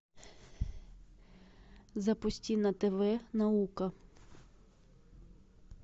запусти на тв наука